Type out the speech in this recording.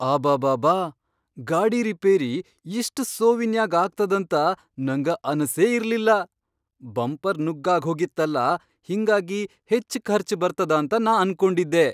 ಅಬಾಬಾಬಾ, ಗಾಡಿ ರಿಪೇರಿ ಇಷ್ಟ್ ಸೋವಿನ್ಯಾಗ್ ಆಗ್ತದಂತ ನಂಗ ಅನಸೇ ಇರ್ಲಿಲ್ಲಾ! ಬಂಪರ್ ನುಗ್ಗಾಗ್ಹೋಗಿತ್ತಲಾ ಹಿಂಗಾಗಿ ಹೆಚ್ಚ್ ಖರ್ಚ್ ಬರ್ತದಂತ ನಾ ಅನ್ಕೊಂಡಿದ್ದೆ.